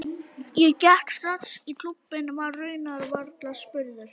Ég gekk strax í klúbbinn, var raunar varla spurður.